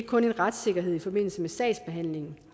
kun en retssikkerhed i forbindelse med sagsbehandlingen